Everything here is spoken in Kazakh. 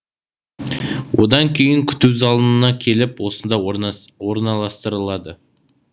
одан кейін күту залына келіп осында орналастырылады